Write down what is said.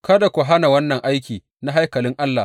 Kada ku hana wannan aiki na haikalin Allah.